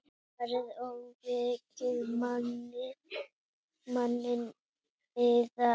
Farið og vekið manninn yðar.